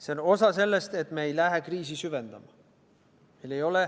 See on osa sellest, et me ei lähe kriisi süvendama.